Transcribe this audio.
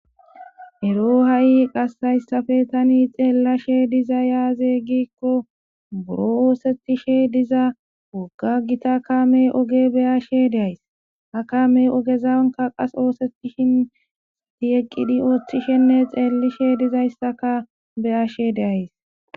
ero ha7i qas hayssafe tani xeellashe diza yaaze gikko buro oosettishe diza wogga gita kame oge beyashe deays ha kame ogezawnka qas oosetishin sati eqqidi ooththishenne xeellishe dizayssaka beyashe deays